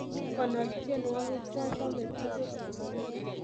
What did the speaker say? Konor tyenwogik chachame tugul